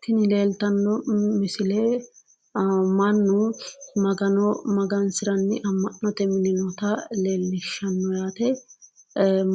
Tini leeltanno misile mannu magano magansiranni amma'note mine noota leellishshanno yaat*e